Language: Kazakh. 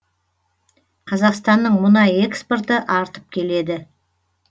қазақстанның мұнай экспорты артып келеді